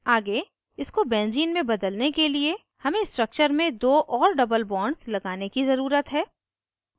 आगे इसको benzene में बदलने के लिए हमें structure में दो और double bonds लगाने की ज़रूरत है